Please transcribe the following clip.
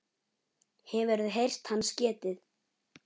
Hefurðu heyrt hans getið?